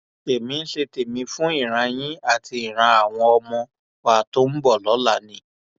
èmi ń ṣe tèmi fún ìran yìí àti ìran àwọn ọmọ wa tó ń bọ lọla ni